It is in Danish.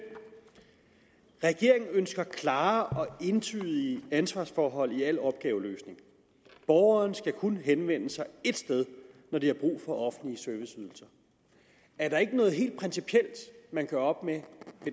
regeringen ønsker klare og entydige ansvarsforhold i al opgaveløsning borgerne skal kun henvende sig ét sted når de har brug for offentlige serviceydelser er der ikke noget helt principielt man gør op med